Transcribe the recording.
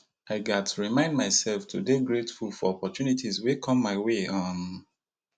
i gats remind myself to dey grateful for opportunities wey come my way um